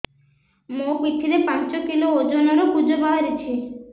ମୋ ପିଠି ରେ ପାଞ୍ଚ କିଲୋ ଓଜନ ର କୁଜ ବାହାରିଛି